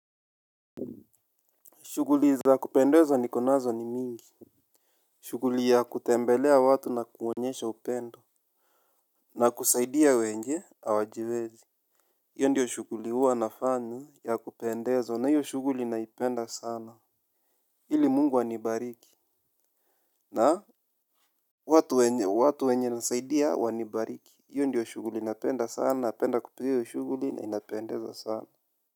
Shughuli za kupendeza niko nazo ni mingi. Shughuli ya kutembelea watu na kuonyesha upendo. Na kusaidia wenye hawajiwezi. Hiyo ndio shughuli huwa nafanya ya kupendezwa na hiyo shughuli naipenda sana ili Mungu anibariki na watu wenye nasaidia wanibariki hiyo ndiyo shughuli napenda sana napenda kupiga hiyo shughuli na inapendeza sana.